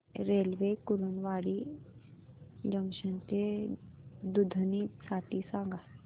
railway Kurduwadi junction ते दुधनी साठी सांगा